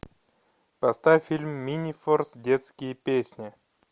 поставь фильм минифорс детские песни